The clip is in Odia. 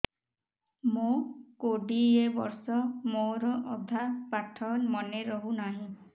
ମୋ କୋଡ଼ିଏ ବର୍ଷ ମୋର ଅଧା ପାଠ ମନେ ରହୁନାହିଁ